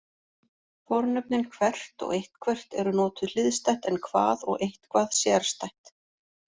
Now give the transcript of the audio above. Fornöfnin hvert og eitthvert eru notuð hliðstætt en hvað og eitthvað sérstætt.